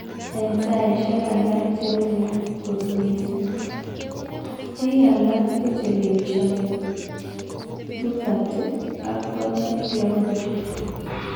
En saisiek alak che ui kot missing. Pik alak kuchelewensie puberty ak corneal clouding.